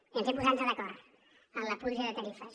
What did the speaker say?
i ens hem posat d’acord en la puja de tarifes